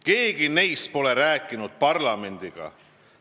Keegi neist pole rääkinud parlamendiga.